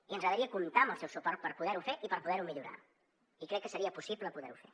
i ens agradaria comptar amb el seu suport per poder ho fer i per poder ho millorar i crec que seria possible poder ho fer